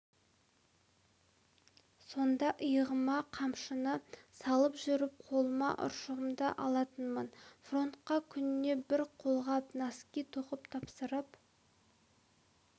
сонда иығыма қамшыны салып жүріп қолыма ұршығымды алатынмын фронтқа күніне бір қолғап нәски тоқып тапсырып